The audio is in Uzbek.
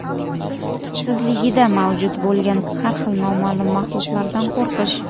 tubsizligida mavjud bo‘lgan har xil noma’lum maxluqlardan qo‘rqish.